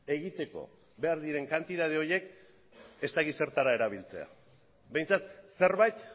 egiteko behar diren kantitate horiek ez dakit zertara erabiltzea behintzat zerbait